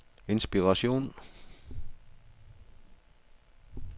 inspiration